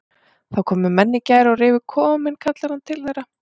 Það komu menn í gær og rifu kofann minn kallar hann til þeirra.